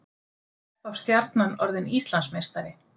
Er þá Stjarnan orðið Íslandsmeistari?